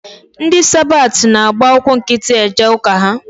Ndị sabat na-agba ụkwụ nkịtị eje ụka ha.